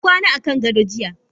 Na kwana akan gado jiya.